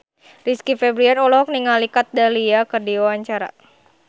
Rizky Febian olohok ningali Kat Dahlia keur diwawancara